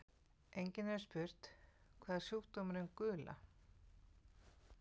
Einnig hefur verið spurt: Hvað er sjúkdómurinn gula?